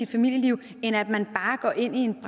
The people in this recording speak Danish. familieliv end at man bare går ind i en